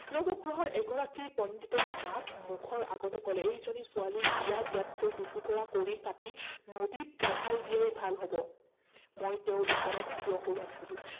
নৱগ্ৰহৰ এগৰাকী পণ্ডিতে মাক মুখৰ আগতে কলে, এইজনী ছোৱালী বিয়া দিয়াতকৈ দুটুকুৰা কৰি কাটি নদীত ভহাই দিয়াই ভাল হব। মই তেওঁ ওচৰত থিয় হৈ আছিলো।